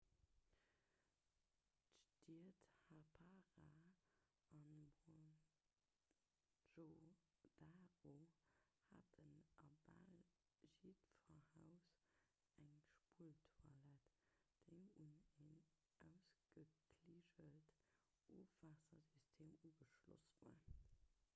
d'stied harappa a mohenjo-daro haten a bal jiddwer haus eng spulltoilett déi un en ausgekliggelten ofwaassersystem ugeschloss war